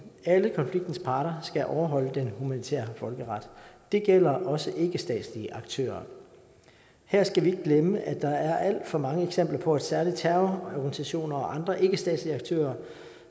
at alle konfliktens parter skal overholde den humanitære folkeret det gælder også ikkestatslige aktører her skal vi glemme at der er alt for mange eksempler på at særlig terrororganisationer og andre ikkestatslige aktører